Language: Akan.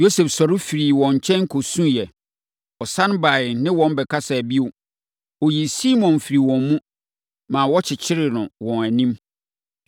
Yosef sɔre firii wɔn nkyɛn kɔsuiɛ. Ɔsane baeɛ ne wɔn bɛkasaa bio. Ɔyii Simeon firii wɔn mu, ma wɔkyekyeree no wɔ wɔn anim.